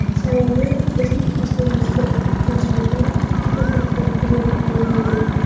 Sababi bizning kasbimizda tajriba juda katta rol o‘ynaydi.